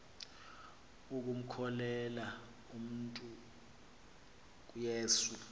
ukumkhokelela umntu kuyesu